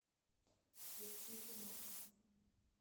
включи димас